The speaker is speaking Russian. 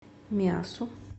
миассу